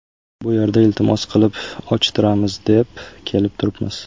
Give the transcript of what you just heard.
Bu yerda iltimos qilib ochtiramiz, deb kelib turibmiz.